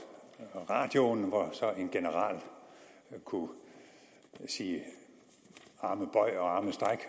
radioen hvor så en general kunne sige arme bøj arme stræk